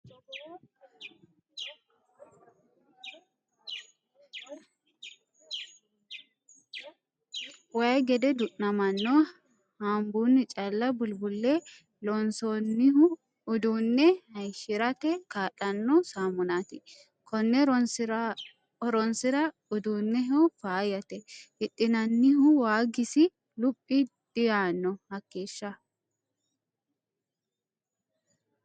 Waayi gede du'namano hanbunni calla bulbule loonsoniho uduune hayishirate kaa'lano samunati kone horonsira uduunehono faayyate hidhinannihu waagisi luphi diyaano hakeeshsha.